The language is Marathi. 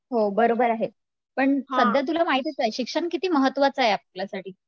हो बरोबर आहे, पण सध्या तुला माहीतीच आहे शिक्षण किती महत्त्वाचे आहे आपल्यासाठी